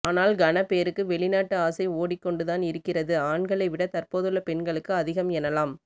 ஆனால் கனபேருக்கு வெளிநாட்டு ஆசை ஓடிக்கொண்டுதான் இருக்கிறது ஆண்களை விட தற்போதுள்ள பெண்களுக்கு அதிகம் எனலாம்